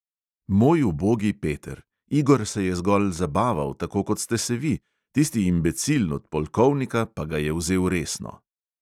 "Moj ubogi peter, igor se je zgolj zabaval, tako kot ste se vi, tisti imbecil od polkovnika pa ga je vzel resno."